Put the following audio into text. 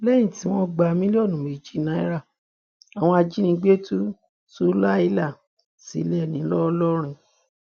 lẹyìn tí wọn gba mílíọnù méjì náírà àwọn ajínigbé tú súlàíà sílẹ ńlọrọrin